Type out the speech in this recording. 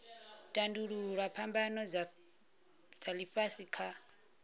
tandululwa phambano dza ifhasi kha